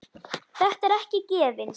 Þetta er ekki gefins.